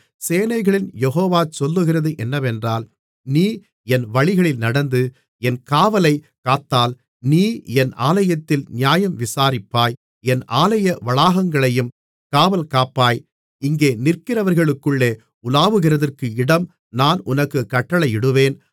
சேனைகளின் யெகோவா சொல்லுகிறது என்னவென்றால் நீ என் வழிகளில் நடந்து என் காவலைக் காத்தால் நீ என் ஆலயத்தில் நியாயம் விசாரிப்பாய் என் ஆலய வளாகங்களையும் காவல்காப்பாய் இங்கே நிற்கிறவர்களுக்குள்ளே உலாவுகிறதற்கு இடம் நான் உனக்குக் கட்டளையிடுவேன்